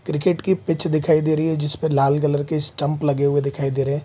Cricket की pitch दिखाई रही है जिस पर लाल कलर के स्टंप लगे हुए दिखाई दे रहे है।